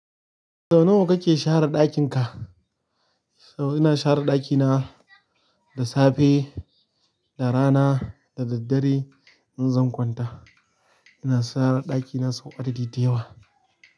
Sau nawa kake share ɗakin ka? Ina share ɗakina da safe, da rana da daddare in zan kwanta. Ina share ɗakina sau adadi dayawa.